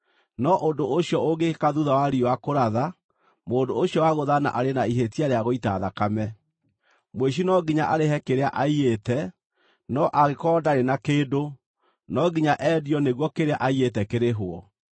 no ũndũ ũcio ũngĩkĩka thuutha wa riũa kũratha, mũndũ ũcio wagũthana arĩ na ihĩtia rĩa gũita thakame. “Mũici no nginya arĩhe kĩrĩa aiyĩte, no angĩkorwo ndarĩ na kĩndũ, no nginya endio nĩguo kĩrĩa aiyĩte kĩrĩhwo.